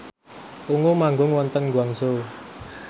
Ungu manggung wonten Guangzhou